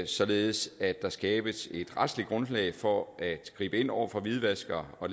således at der skabes et retligt grundlag for at gribe ind over for hvidvaskere og